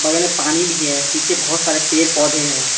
ओल यहां पानी भी है पीछे बहुत सारे पेड पौधे है।